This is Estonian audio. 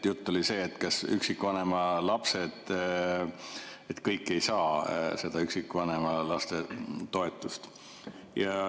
Jutt oli sellest, et kõik ei saa seda üksikvanema lapse toetust.